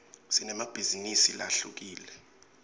sinemabhizinisi lahlukile